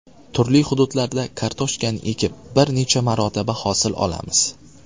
Turli hududlarda kartoshkani ekib, bir necha marotaba hosil olamiz.